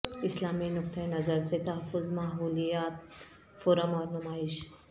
اسلامی نقطہ نظر سے تحفظ ماحولیات فورم اور نمائش